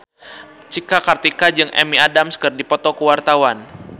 Cika Kartika jeung Amy Adams keur dipoto ku wartawan